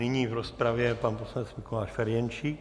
Nyní v rozpravě pan poslanec Mikuláš Ferjenčík.